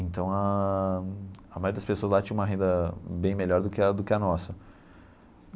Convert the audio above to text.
Então, ãh a maioria das pessoas lá tinha uma renda bem melhor do que a do que a nossa.